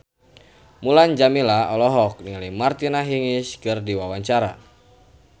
Mulan Jameela olohok ningali Martina Hingis keur diwawancara